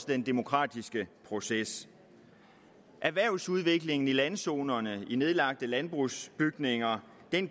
den demokratiske proces erhvervsudviklingen i landzoner med nedlagte landbrugsbygninger